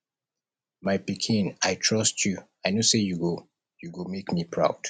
my pikin i trust you i know say you go you go make me proud